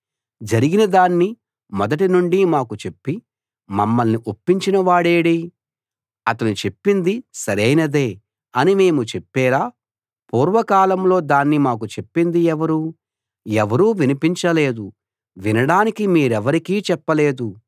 జరిగినదాన్ని మొదటి నుండి మాకు చెప్పి మమ్మల్ని ఒప్పించినవాడేడీ అతడు చెప్పింది సరైనదే అని మేము చెప్పేలా పూర్వకాలంలో దాన్ని మాకు చెప్పింది ఎవరు ఎవరూ వినిపించలేదు వినడానికి మీరెవరికీ చెప్పలేదు